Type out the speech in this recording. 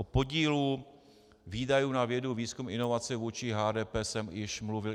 O podílu výdajů na vědu, výzkum, inovace vůči HDP jsem již mluvil.